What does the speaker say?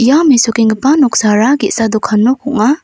ia mesokenggipa noksara ge·sa dokan nok ong·a.